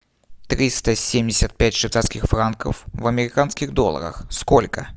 триста семьдесят пять швейцарских франков в американских долларах сколько